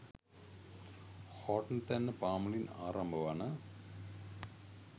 හෝර්ටන්තැන්න පාමුලින් ආරම්භ වන